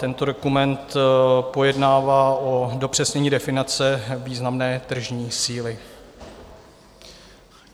Tento dokument pojednává o dopřesnění definice významné tržní síly.